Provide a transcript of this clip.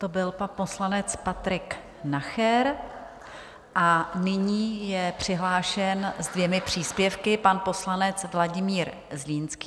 To byl pan poslanec Patrik Nacher a nyní je přihlášen se dvěma příspěvky pan poslanec Vladimír Zlínský.